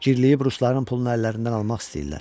Gərləyib rusların pulunu əllərindən almaq istəyirlər.